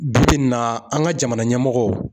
Bi bi in na, an ka jamana ɲɛmɔgɔ.